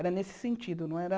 Era nesse sentido, não era...